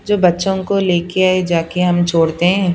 जो बच्चों को लेके आए जाके हम छोड़ते हैं।